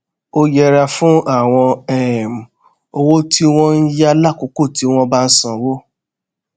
ó yẹra fún àwọn um owó tí wón ń yá lákòókò tí wón bá ń sanwó